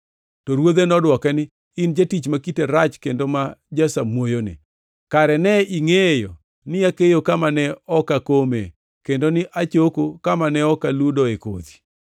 “To ruodhe nodwoke ni, ‘In jatich ma kite rach kendo ma jasamuoyoni. Kare ne ingʼeyo ni akeyo kama ne ok akome kendo ni achoko kama ne ok aludoe kodhi?